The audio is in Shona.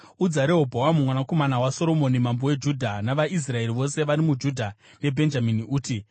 “Udza Rehobhoamu mwanakomana waSoromoni mambo weJudha navaIsraeri vose vari muJudha neBhenjamini, uti,